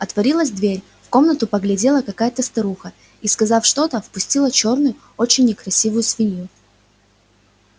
отворилась дверь в комнату поглядела какая-то старуха и сказав что-то впустила чёрную очень некрасивую свинью